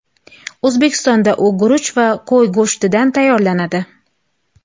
O‘zbekistonda u guruch va qo‘y go‘shtidan tayyorlanadi.